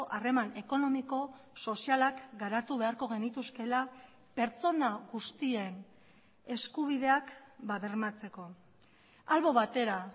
harreman ekonomiko sozialak garatu beharko genituzkeela pertsona guztien eskubideak bermatzeko albo batera